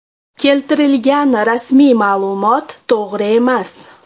Keltirilgan rasmiy ma’lumot to‘g‘ri emas.